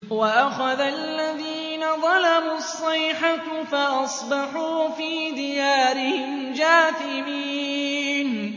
وَأَخَذَ الَّذِينَ ظَلَمُوا الصَّيْحَةُ فَأَصْبَحُوا فِي دِيَارِهِمْ جَاثِمِينَ